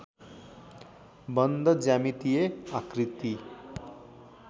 बन्द ज्यामितिय आकृती